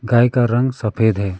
गाय का रंग सफेद है।